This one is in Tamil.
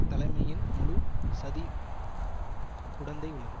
தலைமையின் முழு சதி உடந்தை உள்ளது